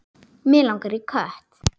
Mig langaði í kött.